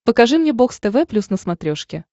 покажи мне бокс тв плюс на смотрешке